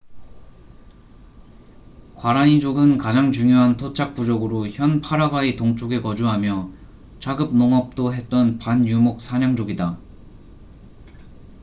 과라니 족은 가장 중요한 토착 부족으로 현 파라과이 동쪽에 거주하며 자급 농업도 했던 반유목 사냥족이다